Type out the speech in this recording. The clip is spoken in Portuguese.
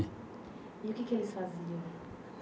E o que que eles faziam?